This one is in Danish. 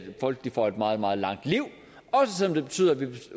folk får et meget meget langt liv også selv om det betyder at vi